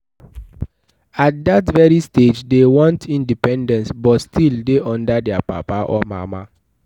at that very stage they want independence but still de under their papa or mama